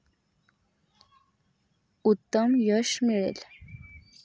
उत्तम यश मिळेल.